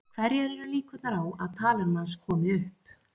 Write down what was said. Hverjar eru líkurnar á að talan manns komi upp?